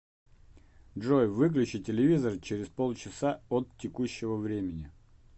джой выключи телевизор через полчаса от текущего времени